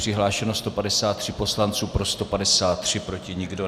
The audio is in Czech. Přihlášeno 153 poslanců, pro 153, proti nikdo.